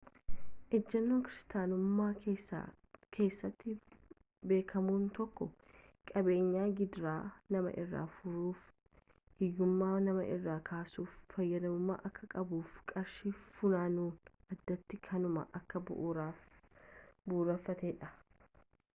ejennoon kiristaanummaa keessatti beekamu tokko qabeenyi gidiraa nama irraa furuufi ,hiyyummaa nama irraa kaasuuf fayyadamamuu akka qabuufi qarshiin funaanamu addatti kanuma kan bu'uureffateedha